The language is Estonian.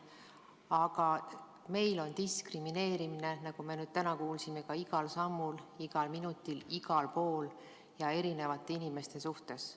Aga meil on diskrimineerimine, nagu me täna kuulsime, ka igal sammul, igal minutil, igal pool ja eri inimeste suhtes.